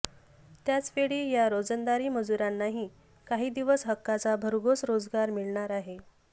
त्याचवेळी या रोजंदारी मजुरांनाही काही दिवस हक्काचा भरघोस रोजगार मिळणार आहे